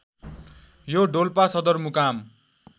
यो डोल्पा सदरमुकाम